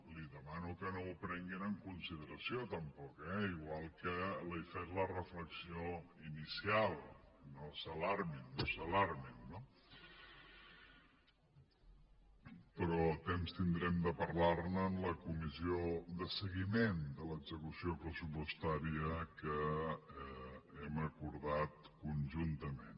li demano que no m’ho prenguin en consideració tampoc eh igual que li he fet la reflexió inicial i no s’alarmin no s’alarmin no però temps tindrem de parlar ne en la comissió de seguiment de l’execució pressupostària que hem acordat conjuntament